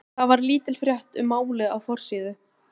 Þar var lítil frétt um málið á forsíðu.